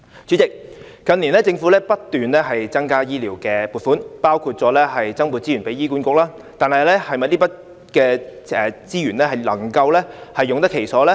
主席，近年政府不斷增加醫療撥款，包括增撥資源給醫管局，但這筆資源能否用得其所呢？